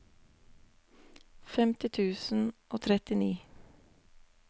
femti tusen og trettini